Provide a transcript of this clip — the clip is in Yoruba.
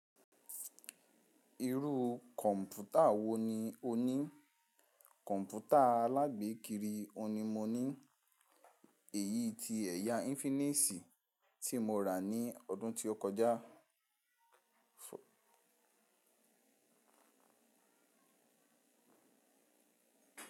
Irú kọ̀ǹpútà wò ní o ní? Kọ̀ǹpútà alágbèékiri ohun ni mo ní, èyí tí ẹ̀yà infinity tí mo rà ní ọdún tí ó kọjá.